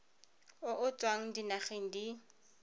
o o tswang dinageng di